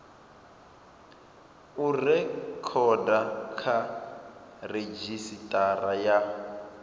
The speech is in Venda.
u rekhoda kha redzhisitara ya